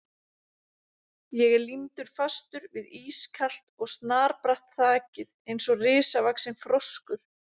Ég er límdur fastur við ískalt og snarbratt þakið eins og risavaxinn froskur.